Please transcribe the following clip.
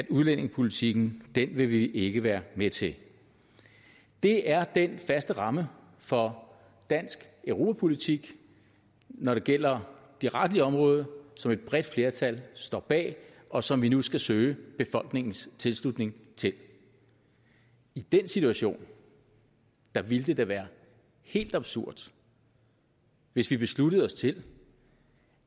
udlændingepolitikken vil vi ikke være med til det er den faste ramme for dansk europapolitik når det gælder det retlige område som et bredt flertal står bag og som vi nu skal søge befolkningens tilslutning til i den situation ville det da være helt absurd hvis vi besluttede os til